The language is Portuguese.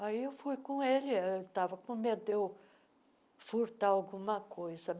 Aí eu fui com ele, ele estava com medo de eu furtar alguma coisa.